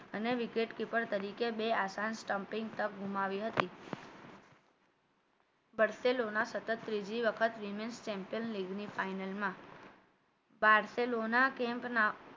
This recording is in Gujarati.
અને wicket keeper તરીકે બે આસાન stumping પણ ગુમાવી હતી વર્ષેલોના સતત ત્રીજી વખત women champion league final માં camp ના